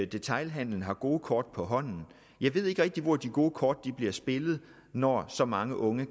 detailhandelen har gode kort på hånden jeg ved ikke rigtig hvor de gode kort bliver spillet når så mange unge